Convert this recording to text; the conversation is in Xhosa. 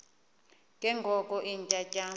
ke ngoko iintyatyambo